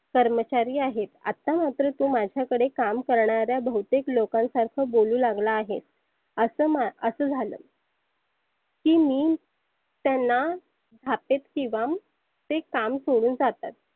कर्मचारी आहेत. आत्ता तु माझ्या कडे काम करणाऱ्या बहुतेक लोकांसारख बोलु लागला आहे. असंं मा झालं की मी त्यांना थापेत किंवा ते काम सोडून जातात.